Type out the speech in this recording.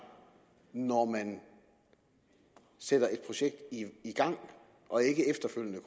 når man sætter et projekt i gang og ikke efterfølgende